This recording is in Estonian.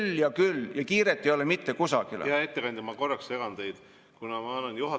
Relvade ja laskemoona hinnad kasvavad päevade, mitte kuude ja aastatega.